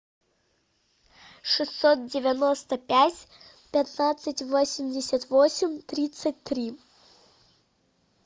шестьсот девяносто пять пятнадцать восемьдесят восемь тридцать три